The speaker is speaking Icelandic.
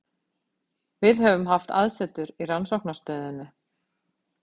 Við höfum haft aðsetur í rannsóknarstöðinni